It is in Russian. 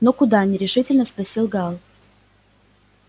но куда нерешительно спросил гаал